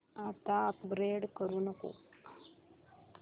आता अपग्रेड करू नको